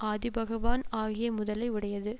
ஆதிபகவான் ஆகிய முதலை உடையது